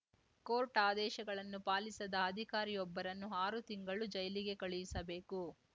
court ಆದೇಶಗಳನ್ನು ಪಾಲಿಸದ ಅಧಿಕಾರಿಯೊಬ್ಬರನ್ನು ಆರು ತಿಂಗಳು ಜೈಲಿಗೆ ಕಳುಹಿಸಬೇಕು